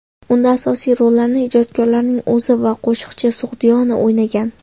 Unda asosiy rollarni ijodkorning o‘zi va qo‘shiqchi Sug‘diyona o‘ynagan.